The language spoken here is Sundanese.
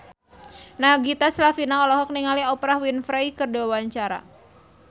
Nagita Slavina olohok ningali Oprah Winfrey keur diwawancara